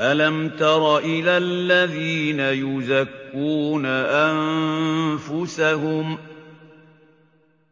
أَلَمْ تَرَ إِلَى الَّذِينَ يُزَكُّونَ أَنفُسَهُم ۚ